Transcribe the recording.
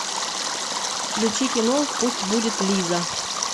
включи кино пусть будет лиза